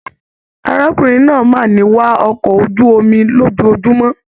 Arákùnrin náà máà ni wá ọkọ̀ ojú omi lójoojúmọ́.